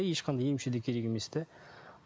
ешқандай емші де керек емес те